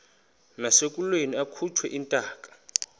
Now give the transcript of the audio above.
nasekulweni akhutshwe intaka